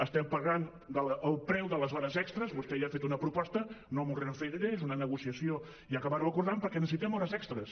estem pagant el preu de les hores extres vostè ja ha fet una proposta no m’hi referiré és una negociació i acabar·ho acordant perquè necessitem hores extres